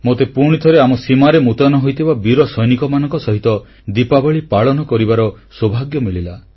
ମୋତେ ପୁଣି ଥରେ ଆମ ସୀମାରେ ମୃତୟନ ହୋଇଥିବା ବୀର ସୈନିକମାନଙ୍କ ସହିତ ଦୀପାବଳୀ ପାଳନ କରିବାର ସୌଭାଗ୍ୟ ମିଳିଲା